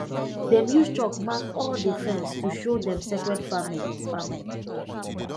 them use chalk mark all the fence to show dem sacred farming farming